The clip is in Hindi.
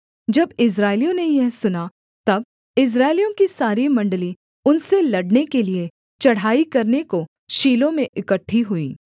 जब इस्राएलियों ने यह सुना तब इस्राएलियों की सारी मण्डली उनसे लड़ने के लिये चढ़ाई करने को शीलो में इकट्ठी हुई